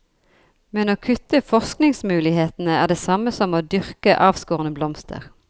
Men å kutte forskningsmulighetene er det samme som å dyrke avskårne blomster.